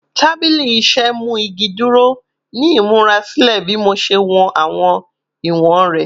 Tabili iṣẹ mu igi duro ni imurasilẹ bi Mo ṣe wọn awọn iwọn rẹ